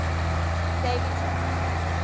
daveyton